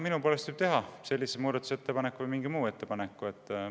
Minu poolest võib sellise muudatusettepaneku teha või mingi muu ettepaneku.